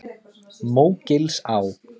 Mógilsá